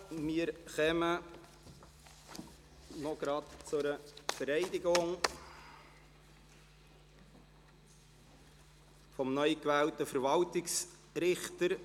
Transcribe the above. Wir kommen gleich zur Vereidigung des neu gewählten Verwaltungsrichters.